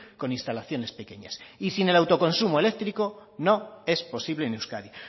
con instalaciones pequeñas y sin el autoconsumo eléctrico no es posible en euskadi